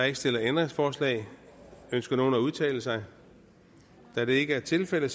ikke stillet ændringsforslag ønsker nogen at udtale sig da det ikke er tilfældet